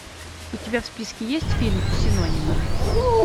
у тебя в списке есть фильм синонимы